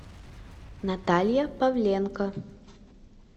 наталья павленко